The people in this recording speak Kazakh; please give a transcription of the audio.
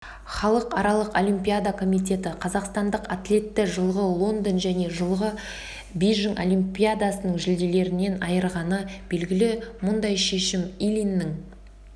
халықаралық олимпиада комитеті қазақстандық атлетті жылғы лондон және жылғы бейжіңолимпиадасының жүлделерінен айырғаны белгілі мұндай шешім ильиннің